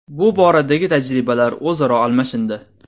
Bu boradagi tajribalar o‘zaro almashindi.